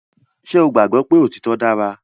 Ṣé o gbàgbọ́ pé òtítọ dára